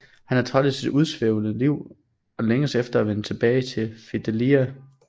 Han er træt af sit udsvævende liv og længes efter at vende tilbage til Fidelia